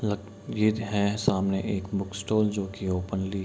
लग ये है सामने एक बुक स्टॉल जो कि ओपनली --